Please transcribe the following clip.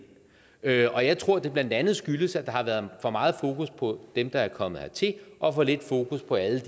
og jeg tror at det blandt andet skyldes at der har været for meget fokus på dem der er kommet hertil og for lidt fokus på alle